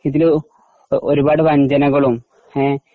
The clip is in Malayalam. ഇതില് ഒരുപാട് വഞ്ചനകളും ങേ .